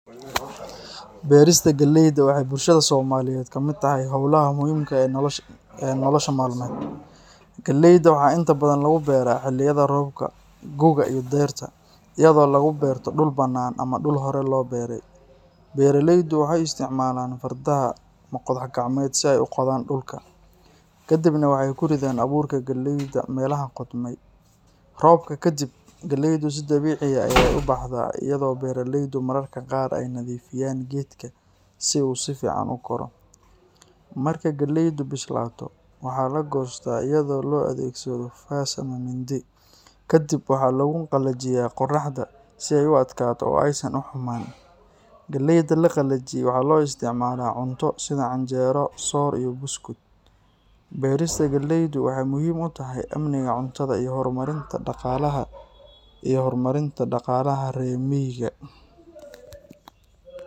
Beerista galeyda waxay bulshada Soomaaliyeed ka mid tahay hawlaha muhiimka ah ee nolosha maalmeed. Galeyda waxaa inta badan lagu beeraa xilliyada roobka gu’ga iyo dayrta, iyadoo lagu beero dhul bannaan ama dhul hore loo beeray. Beeraleydu waxay isticmaalaan fardaha ama qodax gacmeed si ay u qodaan dhulka, kaddibna waxay ku ridaan abuurka galeyda meelaha qodmay. Roobka kaddib, galeydu si dabiici ah ayey u baxdaa iyadoo beeraleydu mararka qaar ay nadiifiyaan geedka si uu si fiican u koro. Marka galeydu bislaato, waxaa la goostaa iyadoo loo adeegsado faas ama mindi. Ka dib, waxaa lagu qalajiyaa qoraxda si ay u adkaato oo aysan u xumaan. Galeyda la qalajiyey waxaa loo isticmaalaa cunto sida canjeero, soor iyo buskud. Beerista galeydu waxay muhiim u tahay amniga cuntada iyo horumarinta dhaqaalaha reer miyiga.